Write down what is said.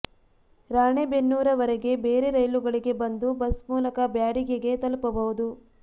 ರಾಣೇಬೆನ್ನೂರ ವರೆಗೆ ಬೇರೆ ರೈಲುಗಳಿಗೆ ಬಂದು ಬಸ್ ಮೂಲಕ ಬ್ಯಾಡಗಿಗೆ ತಲುಪಬಹುದು